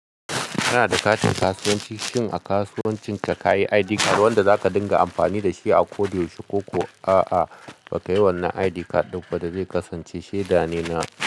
Kana da katin kasuwanci? Shin a kasuwancinka ka yi ID card wanda za ka dinga amfani da shi a koda yaushe kokuwa ka. A'a, ba ka yi wannan ID card ɗin ba da zai kasance shaida ne na.